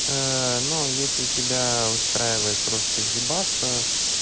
ну если тебя устраивает просто ебаться